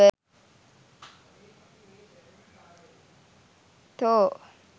thor